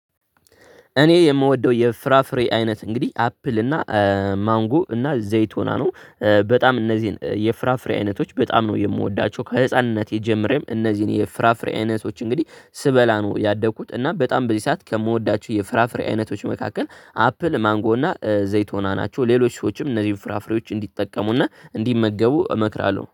እኔ የምወደው የፍራፍሬ አይነት እንግዲህ አፕል እና ማንጎ እና ዘይቶና ነው። በጣም እነዚህን የፍራፍሬ አይነቶች በጣም ነው የምወዳቸው ከህፃንነቴ ጀምሬም እነዚህን የፍራፍሬ አይነቶች እንግዲህ ስበላ ነው ያደግኩት እና በጣም በዚህ ሰዓት ከምወዳቸው የፍራፍሬ አይነቶች መካከል አፕል ማንጎ እና ዘይቶና ናቸው። ሌሎች ሰዎችም እነዚህን ፍራፍሬዎች እንዲጠቀሙና እንዲመገቡ እመክራለሁ